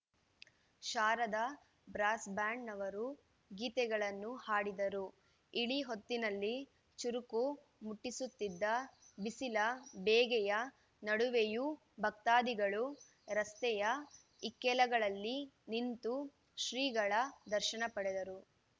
Sharada brass ಬ್ಯಾಂಡ್‌ನವರು ಗೀತೆಗಳನ್ನು ಹಾಡಿದರು ಇಳಿ ಹೊತ್ತಿನಲ್ಲಿ ಚುರುಕು ಮುಟ್ಟಿಸುತ್ತಿದ್ದ ಬಿಸಿಲ ಬೇಗೆಯ ನಡುವೆಯೂ ಭಕ್ತಾದಿಗಳು ರಸ್ತೆಯ ಇಕ್ಕೆಲಗಳಲ್ಲಿ ನಿಂತು ಶ್ರೀಗಳ ದರ್ಶನ ಪಡೆದರು